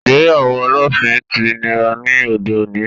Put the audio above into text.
Ìgbéyàwó olóòfin ti nira ní òde òní